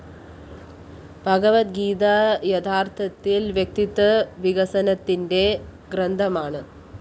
ഭഗവദ്ഗീത യഥാര്‍ത്ഥത്തില്‍ വ്യക്തിത്വവികസനത്തിന്റെ ഗ്രന്ഥമാണ്